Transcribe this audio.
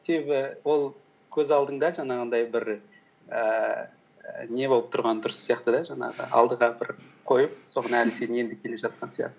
себебі ол көз алдыңда жаңағындай бір ііі не болып тұрған дұрыс сияқты да жаңағы алдыға бір қойып соған әлі сен енді келе жатқан сияқты